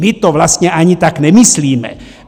My to vlastně ani tak nemyslíme.